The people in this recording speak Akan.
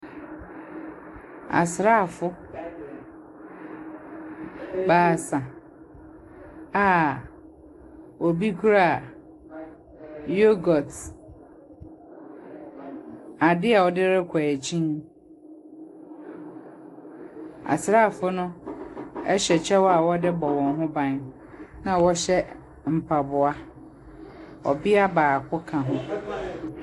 Asrafo baasa a obi kra yogot, ade a ɔde kɔ ekyin. Asrafo no ɔhyɛ ɛkyɛw a wɔde rebɔ wɔ ho ban ena wɔhyɛ mpaboa. Ɔbia baako ka.